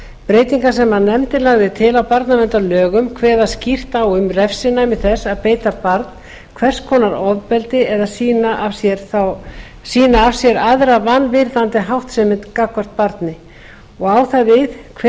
breytingar sem nefndin lagði til á barnaverndarlögum kveða skýrt á um refsinæmi þess að beita barn hvers konar ofbeldi eða sýna af sér aðra vanvirðandi háttsemi gagnvart barni og á það við hver